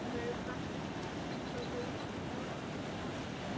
Sólveig Bergmann: Ætlarðu að flagga?